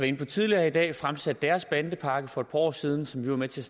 inde på tidligere i dag fremsat deres bandepakke for et par år siden som vi var med til